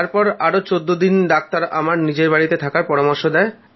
তারপর আরও চোদ্দ দিন ডাক্তাররা আমায় নিজের বাড়িতে থাকার পরামর্শ দেয়